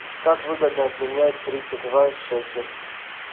как выгодно обменять тридцать два шекель